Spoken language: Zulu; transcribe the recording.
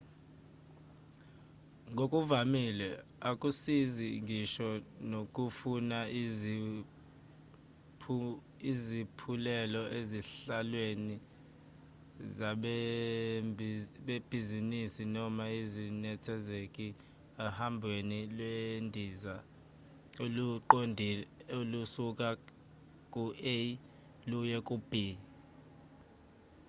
ngokuvamile akusizi ngisho nokufuna izaphulelo ezihlalweni zabebhizinisi noma ezinethezekile ohabweni lwendiza oluqondile olusuka ku-a luye ku-b